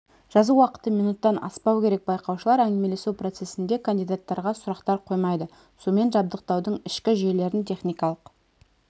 жазу уақыты минуттан аспау керек байқаушылар әңгімелесу процесінде кандидаттарға сұрақтар қоймайды сумен жабдықтаудың ішкі жүйелерін техникалық